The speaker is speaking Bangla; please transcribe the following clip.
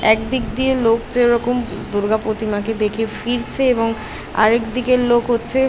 এক দিক দিয়ে লোক যেরকম দুর্গা প্রতিমাকে দেখে ফিরছে এবং আরেক দিকের লোক হচ্ছে --